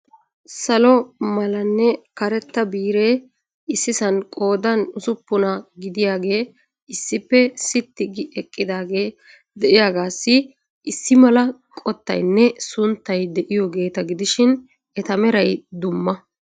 Salo malanne karetta biire issisan qoodan ussuppuna gidiyaage issippe sitti gi eqqidaage de'iyaagassi issi mala qottaynne sunttay de'iyoogeeta gidishin eta meray dumma.